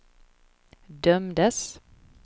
dömdes